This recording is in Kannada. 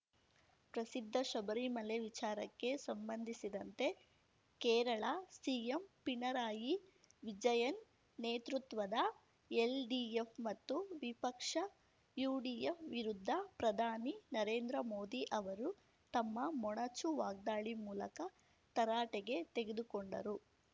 ಪ್ರಸಿದ್ಧ ಶಬರಿಮಲೆ ವಿಚಾರಕ್ಕೆ ಸಂಬಂಧಿಸಿದಂತೆ ಕೇರಳ ಸಿಎಂ ಪಿಣರಾಯಿ ವಿಜಯನ್‌ ನೇತೃತ್ವದ ಎಲ್‌ಡಿಎಫ್‌ ಮತ್ತು ವಿಪಕ್ಷ ಯುಡಿಎಫ್‌ ವಿರುದ್ಧ ಪ್ರಧಾನಿ ನರೇಂದ್ರ ಮೋದಿ ಅವರು ತಮ್ಮ ಮೊನಚು ವಾಗ್ದಾಳಿ ಮೂಲಕ ತರಾಟೆಗೆ ತೆಗೆದುಕೊಂಡರು